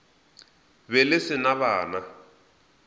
be le se na bana